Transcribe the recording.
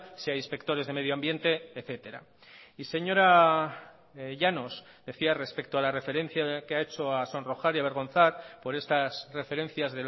sea inspectores de medio ambiente etcétera y señora llanos decía respecto a la referencia que ha hecho a sonrojar y a avergonzar por estas referencias